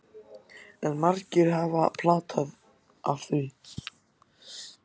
En margir hafa pata af því.